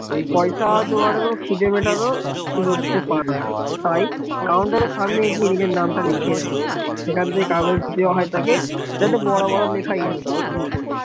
পয়সা জোগাড়ও খিদে মেটানো সুযোগ সে পাবে না, তাই counter রের সামনে গিয়ে নিজের নামটা লিখিয়ে রয়েছে কাগজ দেওয়া হয় তাকে, তাদে বড় বড় লেখা ইন্দ্র নীল